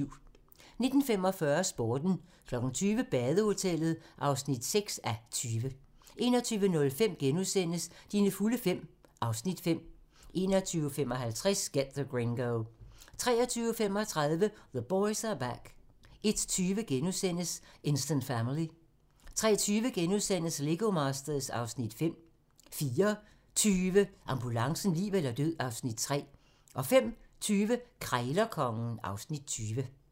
19:45: Sporten 20:00: Badehotellet (6:20) 21:05: Dine fulde fem (Afs. 5)* 21:55: Get the Gringo 23:35: The Boys Are Back 01:20: Instant Family * 03:20: Lego Masters (Afs. 5)* 04:20: Ambulancen - liv eller død (Afs. 3) 05:20: Krejlerkongen (Afs. 20)